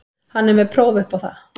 Hann er með próf upp á það.